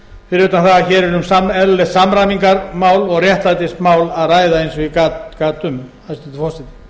utan það að hér er um eðlilegt samræmingarmál og réttlætismál að ræða eins og ég gat um hæstvirtur forseti